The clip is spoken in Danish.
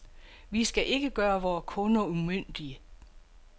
Vi skal ikke gøre vore kunder umyndige.